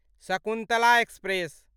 Shakuntala express